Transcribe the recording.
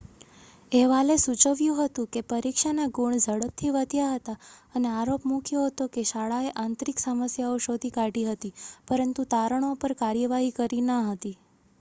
અહેવાલે સૂચવ્યું હતું કે પરીક્ષાના ગુણ ઝડપથી વધ્યા હતા અને આરોપ મૂક્યો હતો કે શાળાએ આંતરિક સમસ્યાઓ શોધી કાઢી હતી પરંતુ તારણો પર કાર્યવાહી કરી ન હતી